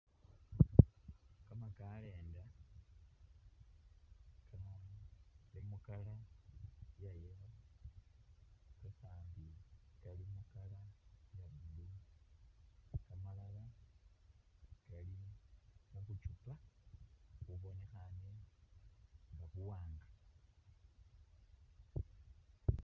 Kamakalenda nga Kali mu'colour iya yellow kakandi Kali mu'colour iya blue kamalala mubuchupa bubonekhane nga buwanga